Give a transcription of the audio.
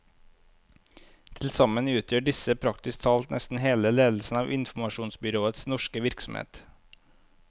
Til sammen utgjør disse praktisk talt nesten hele ledelsen av informasjonsbyråets norske virksomhet.